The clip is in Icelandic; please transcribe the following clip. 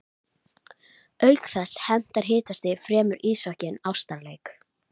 að sínu leyti eins og röntgengeislar fara gegnum hold mannslíkamans.